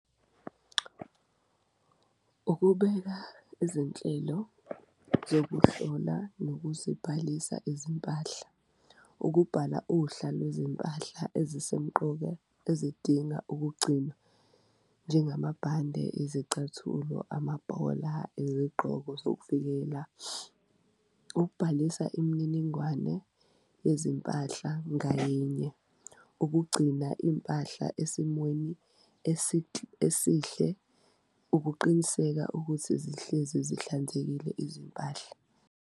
Ukubeka izinhlelo zokuhlola nokuzibhalisa izimpahla, ukubhala uhla lwezimpahla ezisemqoka ezidinga ukugcinwa njengamabhande, izicathulo, amabhola, izigqoko zokuvikela. Ukubhalisa imininingwane yezimpahla ngayinye ukugcina impahla esimweni esihle, ukuqiniseka ukuthi zihlezi zihlanzekile izimpahla.